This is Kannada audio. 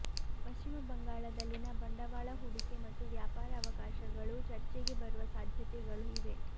ಪಶ್ಚಿಮ ಬಂಗಾಳದಲ್ಲಿನ ಬಂಡವಾಳ ಹೂಡಿಕೆ ಮತ್ತು ವ್ಯಾಪಾರ ಅವಕಾಶಗಳೂ ಚರ್ಚೆಗೆ ಬರುವ ಸಾಧ್ಯತೆಗಳು ಇವೆ